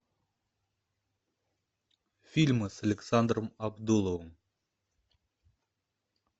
фильмы с александром абдуловым